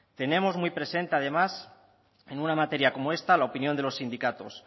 tenemos muy presente además en una materia como esta la opinión de los sindicatos